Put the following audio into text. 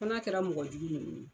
Fana kɛra mɔgɔ jugu